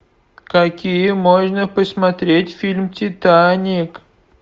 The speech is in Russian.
какие можно посмотреть фильм титаник